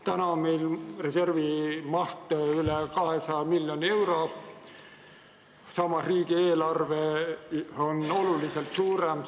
Praegu on meil reservi maht üle 200 miljoni euro, samas kui riigieelarve on oluliselt suurem kui tollal.